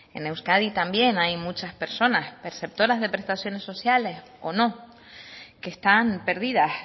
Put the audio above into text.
en euskadi también hay muchas personas perceptoras de prestaciones sociales o no que están perdidas